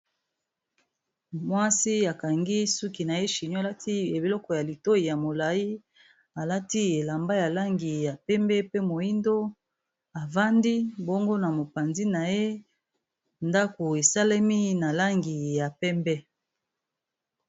Mwasi akangi suki na ye shino alati biloko ya litoyi ya molayi alati elamba ya langi ya pembe pe moyindo avandi bongo na mopanzi na ye ndako esalemi na langi ya pembe.